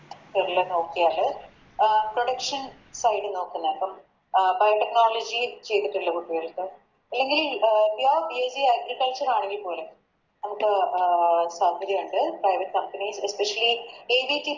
നോക്കിയാല് അഹ് Production side നോക്കുന്ന ഇപ്പോം അഹ് Fiber technology ചെയ്തിട്ടുള്ള കുട്ടികൾക്ക് അല്ലെങ്കില് അഹ് PureBSCAgriculture ആണെങ്കി പോലും അഹ് താല്പര്യയൊണ്ട് Private companyAVC